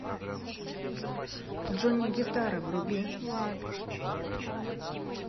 джонни гитара вруби